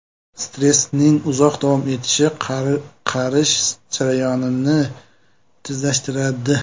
Stressning uzoq davom etishi qarish jarayonini tezlashtiradi.